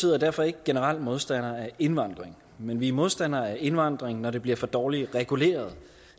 er derfor ikke generelt modstander af indvandring men vi er modstandere af indvandring når det bliver for dårligt reguleret